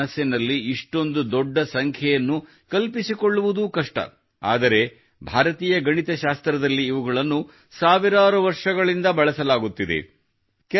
ನಾವು ಮನಸ್ಸಿನಲ್ಲಿ ಇಷ್ಟೊಂದು ದೊಡ್ಡ ಸಂಖ್ಯೆಯನ್ನು ಕಲ್ಪಿಸಿಕೊಳ್ಳುವುದೂ ಕಷ್ಟ ಆದರೆ ಭಾರತೀಯ ಗಣಿತಶಾಸ್ತ್ರದಲ್ಲಿ ಇವುಗಳನ್ನು ಸಾವಿರಾರು ವರ್ಷಗಳಿಂದ ಬಳಸಲಾಗುತ್ತಿದೆ